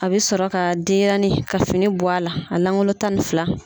A bɛ sɔrɔ ka denyɛrɛnin ka fini bɔ a langolo tan ni fila.